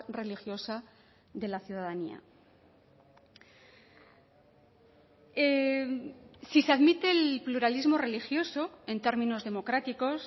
religiosa de la ciudadanía si se admite el pluralismo religioso en términos democráticos